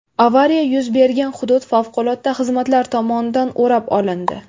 Avariya yuz bergan hudud favqulodda xizmatlar tomonidan o‘rab olindi.